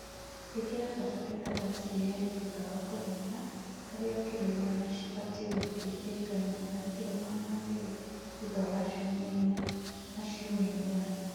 ĩkĩra bataraĩtha ta CAN thũtha wa kũrĩmĩra harĩa kĩlo ĩgana cĩbatĩĩ gũthĩĩ ĩka ĩmwe na kĩlo magana merĩ thũtha wa cĩũmĩa ĩnya na cĩũmĩa ĩnyanya